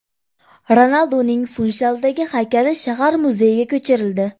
Ronalduning Funshaldagi haykali shahar muzeyiga ko‘chirildi.